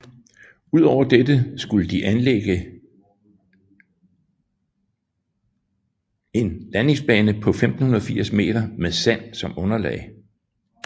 Udover dette skulle de anlægges en landingsbane på 1580 meter med sand som underlag